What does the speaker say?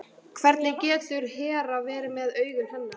Hvernig getur Hera verið með augun hennar?